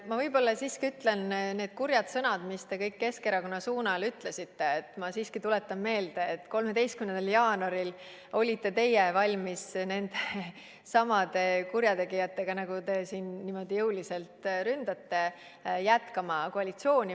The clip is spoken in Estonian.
Ma võib-olla siiski ütlen ja tuletan meelde, et kuigi need olid kurjad sõnad, mis te Keskerakonna kohta ütlesite, olite teie ise 13. jaanuaril valmis nendesamade kurjategijatega, keda te siin niimoodi jõuliselt ründate, koalitsioonis jätkama.